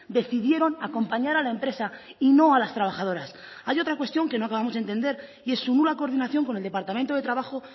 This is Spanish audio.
decidieron acompañar a la empresa y no a las trabajadoras hay otra cuestión que no acabamos de entender y es su nula coordinación con el departamento de trabajo